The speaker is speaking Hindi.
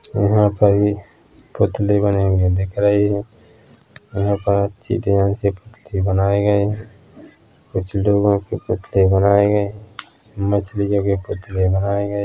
यहाँ पर पुतले बने हुए दिख रही हैं यहाँ पर अच्छी ध्यान से पुतले बनाए गए हैं कुछ लोगों के पुतले बनाए गए हैं मछली की भी पुतले बनाए गए हैं।